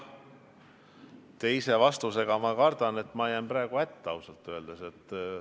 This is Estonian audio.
Teise vastusega ma jään praegu ausalt öeldes hätta.